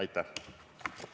Aitäh!